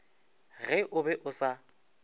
ge o be o sa